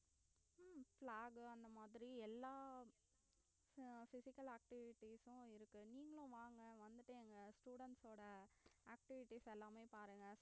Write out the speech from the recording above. உம் flag அந்த மாதிரி எல்லாம் அஹ் physical activities உம் இருக்கு நீங்களும் வாங்க வந்து எங்க students ஓட activities எல்லாத்தையும் பாருங்க